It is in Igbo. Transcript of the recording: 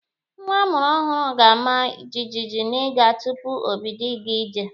Nwa a mụrụ ọhụrụ ga-ama jijiji n'iga tupu o bido ịga ije.